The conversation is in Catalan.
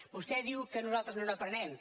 vostè diu que nosaltres no n’aprenem